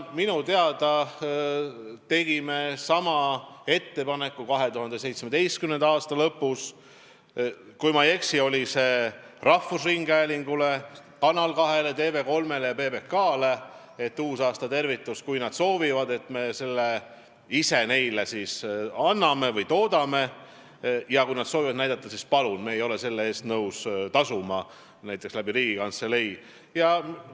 Minu teada tegime 2017. aasta lõpus, kui ma ei eksi, rahvusringhäälingule, Kanal 2-le, TV3-le ja PBK-le ettepaneku, et kui nad soovivad, siis me selle uusaastatervituse neile toodame, ja kui nad soovivad seda näidata, siis palun, aga me ei ole selle eest nõus tasuma näiteks Riigikantselei kaudu.